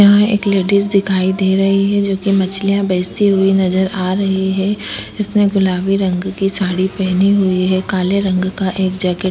यहाँ एक लेडिस दिखाई दे रही है जो कि मछलियां बेचती हुई नजर आ रही है। उसने गुलाबी रंग की साड़ी पहनी हुई है काले रंग का एक जैकेट --